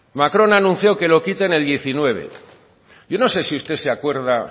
macron ha anunciado que lo quita en el dos mil diecinueve y yo no sé sí usted se acuerda